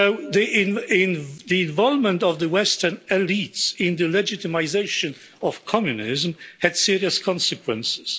The involvement of the Western elites in the legitimisation of communism had serious consequences.